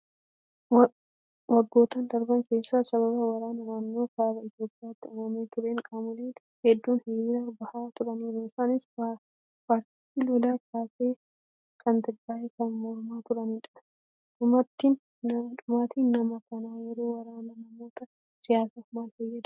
Waggoottan darban keessa sababa waraana naannoo kaaba Itoophiyaatti uumamee tureen qaamoleen hedduun hiriira bahaa turaniiru. Isaanis paartii lola kaase kan Tigraay kan mormaa turanidha. Dhumaatiin namaa kan yeroo waraanaa namoota siyaasaaf maal fayyada?